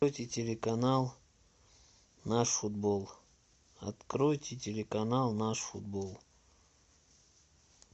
откройте телеканал наш футбол откройте телеканал наш футбол